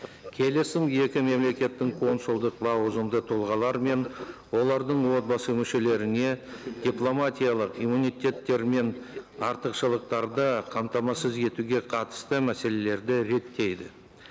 келісім екі мемлекеттің консулдық лауазымды тұлғалары мен олардың отбасы мүшелеріне дипломатиялық иммунитеттері мен артықшылықтарды қамтамасыз етуге қатысты мәселелерді реттейді